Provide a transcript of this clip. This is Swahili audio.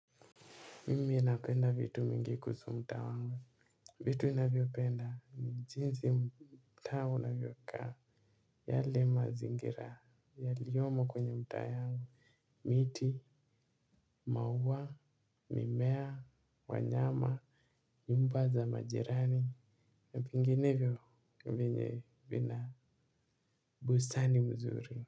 Mimi ninapenda vitu mingi kuhusu mtaa wangu, vitu ninavyopenda ni jinsi mtaa unavyokaa, yale mazingira, yaliyomo kwenye mtaa yangu, miti, maua, mimea, wanyama, nyumba za majirani, na vinginevyo. Vyenye vina bustani mzuri.